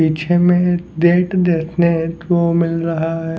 पीछे में डेट देखने को मिल रहा है।